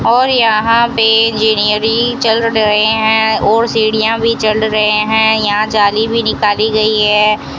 और यहां पे इंजीनियरी चल रहे हैं और सीढ़ियां भी चल रहे हैं यहां जाली भी निकाली गई है।